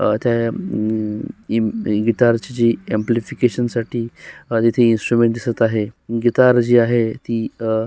अ त्या अम इम गिटार ची जी अँप्लिफिकेशन साठी अ तिथे इन्स्ट्रुमेंट दिसत आहे गिटार जी आहे ती अ --